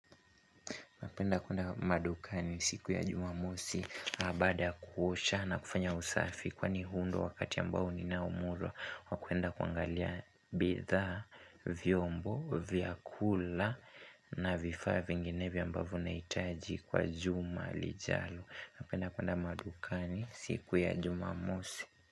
Napenda kwenda madukani siku ya jumamosi baada ya kuosha na kufanya usafi kwani huu ndio wakati ambao ninaomurwa. Wa kuenda kuangalia bithaa, vyombo vya kula na vifaa vinginevyo ambavyo nahitaji kwa juma lijalo. Napenda kuenda madukani siku ya jumamosi.